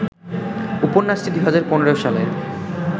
উপন্যাসটি ২০১৫ সালের